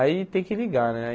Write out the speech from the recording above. Aí tem que ligar, né?